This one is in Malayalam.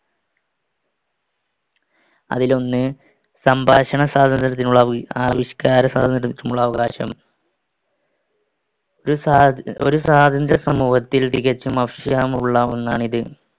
അതിലൊന്ന് സംഭാഷണ സ്വാതന്ത്ര്യത്തിനും ആവിക്ഷ്ക്കാര സ്വാതന്ത്ര്യത്തിനുമുള്ള അവകാശം. ഒരു സ്വാ~ ഒരു സ്വാതന്ത്ര്യസമൂഹത്തിൽ തികച്ചും ആവശ്യമുള്ള ഒന്നാണിത്.